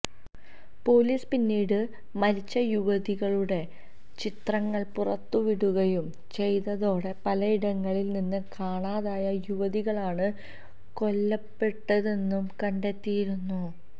police പിന്നീട് മരിച്ച യുവതികളുടെ ചിത്രങ്ങള് പുറത്തുവിടുകയും ചെയ്തതോടെ പലയിടങ്ങളില് നിന്ന് കാണാതായ യുവതികളാണ് കൊല്ലപ്പെട്ടതെന്ന് കണ്ടെത്തിയിരുന്നു